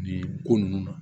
Nin ko ninnu na